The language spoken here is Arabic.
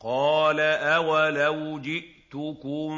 ۞ قَالَ أَوَلَوْ جِئْتُكُم